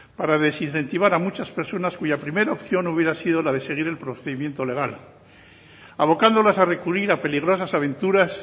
para desincentivar a muchas personas cuya primera opción hubiera sido la de seguir el procedimiento legal abocándolas a recurrir a peligrosas aventuras